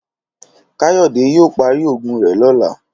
Káyòdé yóò parí ògùn rè lóla